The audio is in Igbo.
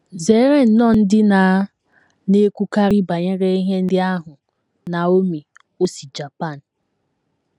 “ Zere nnọọ ndị na - na - ekwukarị banyere ihe ndị ahụ. ” Naomi, o si Japan.